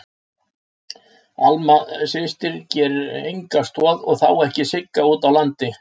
Alma systir gerir enga stoð og þá ekki Sigga úti á landi.